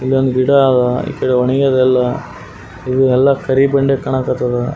ಇಲ್ಲೊಂದು ಗಿಡ ಆದ ಈಕಡೆ ಒಣಗಿದೆ ಎಲ್ಲ ಇಲ್ಲಿ ಎಲ್ಲ ಕರಿಬೆಂಡೆ ಕಾಣಕತ್ತಾದ.